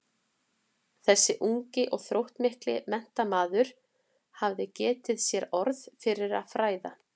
Þessi ungi og þróttmikli menntamaður hafði getið sér orð fyrir að fræða